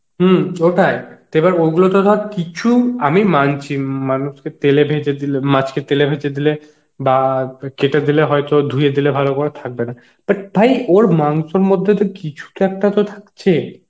হম ওটাই তো ওগুলো তো ধর কিছু আমি মানছি মানে মানুষকে তেলে ভেজে দিলে মাছকে তেলে ভেজে দিলে বা কেটে দিলে হয়তো ধুয়ে দিলে ভালো করে থাকবে না but ভাই ওর মাংসের মধ্যে তো কিছুতো একটা তো থাকছে